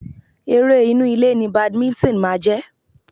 Eré inú ilé ni Badminton máa jẹ́.